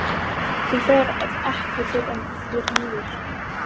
Þú ferð ekki fyrr en þeir eru liðnir.